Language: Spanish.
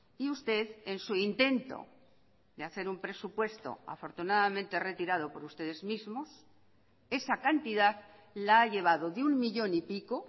y usted en su intento de hacer un presupuesto afortunadamente retirado por ustedes mismos esa cantidad la ha llevado de un millón y pico